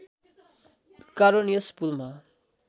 कारण यस पुलमा